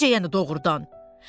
Necə yəni doğrudan?